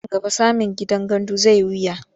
Nan gaba samin gidan gandu zai yi wahala.